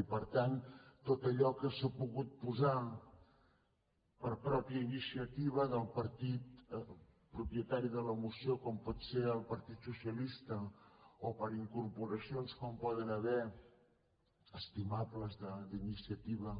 i per tant tot allò que s’ha pogut posar per pròpia iniciativa del partit propietari de la moció com pot ser el partit socialista o per incorporacions com poden haverhi d’estimables d’iniciativa